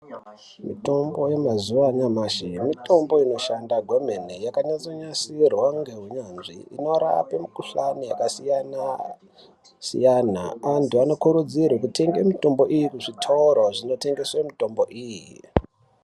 Mitombo yamazuva anyamashi mitombo inoshanda kwemene yakanyatso nasirwa neunyanzvi inorape mukuhlani yakasiyana siyana antu anokurudzirwa kutenge mitombo iyi kuzvitoro zvinotengeswe mitombo.